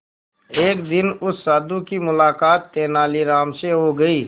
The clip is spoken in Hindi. एक दिन उस साधु की मुलाकात तेनालीराम से हो गई